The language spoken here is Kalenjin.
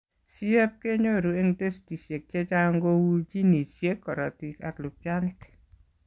CF kinyoruu eng testisiek chechang' kouu genesiek, korotik ak lubchanik